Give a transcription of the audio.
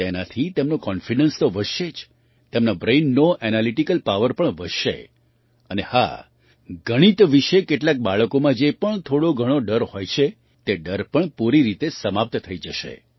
તેનાથી તેમનો કૉન્ફિડન્સ તો વધશે જ તેમના બ્રેઇનનો એનાલિટિકલ પાવર પણ વધશે અને હા ગણિત વિશે કેટલાંક બાળકોમાં જે પણ થોડોઘણો ડર હોય છે તે ડર પણ પૂરી રીતે સમાપ્ત થઈ જશે